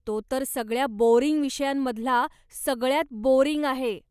तो तर सगळ्या बोअरिंग विषयांमधला सगळ्यांत बोअरिंग आहे.